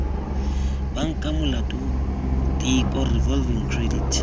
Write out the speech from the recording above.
banka molato tiko revolving credit